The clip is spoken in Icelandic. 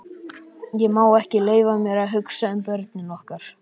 Ég má ekki leyfa mér að hugsa um börnin okkar.